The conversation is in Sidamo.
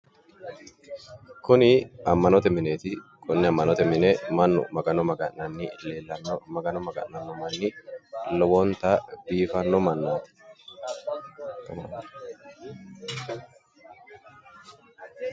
Kuni ammanote mineeti. konne ammanote mine mannu magano maga'nanni leellanno. Magano maga'nanno manni lowonta biifanno mannaati.